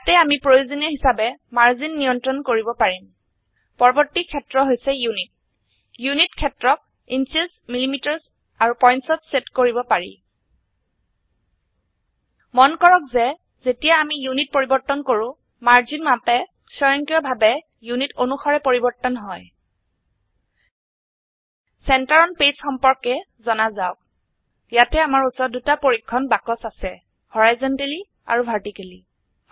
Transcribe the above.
ইয়াতে আমি প্ৰয়োজনীয় হিচাবে মাৰ্জিন নিয়ন্ত্ৰন কৰিব পাৰিম পৰবৰ্তী ক্ষেত্ৰ হৈছে ইউনিট ইউনিট ক্ষেত্ৰ ক ইঞ্চেছ মিলিমিটাৰ আৰু pointsত সেট কৰিব পাৰি মন কৰক যে যেতিয়া আমি ইউনিট পৰিবৰ্তন কৰো মাৰ্জিন মাপে স্বয়ংক্ৰিয়ভাবে ইউনিট অনুসাৰে পৰিবৰ্তন হয় চেণ্টাৰ অন পেজ সম্পৰ্কে জনা যাওক ইয়াতে আমাৰ উচৰত দুটা পৰীক্ষণ বাক্স আছে হৰাইজেণ্টেলি আৰু ভাৰ্টিকেলি